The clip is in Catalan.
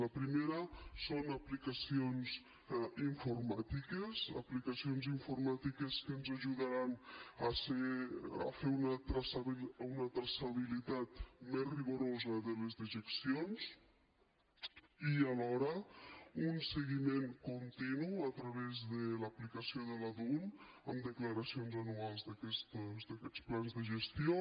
la primera són aplicacions informàtiques aplicacions informàtiques que ens ajudaran a fer una traçabilitat més rigorosa de les dejeccions i alhora un seguiment continu a través de l’aplicació de la dun amb declaracions anuals d’aquests plans de gestió